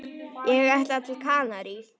Ég ætla til Kanarí.